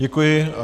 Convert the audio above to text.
Děkuji.